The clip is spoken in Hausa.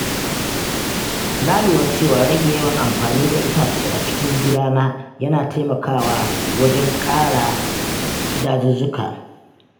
Na lura cewa rage yawan amfani da itace a cikin gidana yana taimaka wa wajen kare dazuzzuka.